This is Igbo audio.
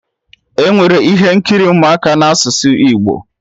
Enwere ihe nkiri ụmụaka na asụsụ Igbo